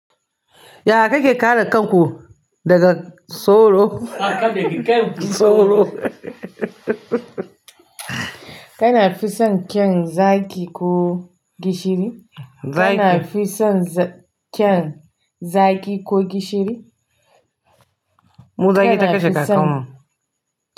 Ya kake kare kanku daga soro? a.a baby kanki tsoho. Hahahhahahahaha. Kana fi son kyan zaki ko gishiri? Kana fi son kyan zaki ko gishiri? Mu zaƙi ta kashe kakannmu.